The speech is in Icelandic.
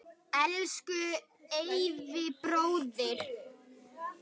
Elsku Eyvi bróðir.